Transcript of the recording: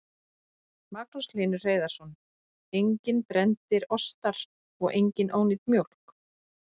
Magnús Hlynur Hreiðarsson: Enginn brenndur ostar og engin ónýt mjólk?